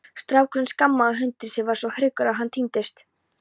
Strákurinn skammaði hundinn sem varð svo hryggur að hann týndist.